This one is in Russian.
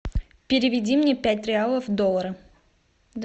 переведи мне пять реалов в доллары